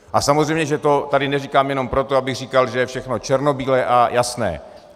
A samozřejmě že to tady neříkám jenom proto, abych říkal, že je všechno černobílé a jasné.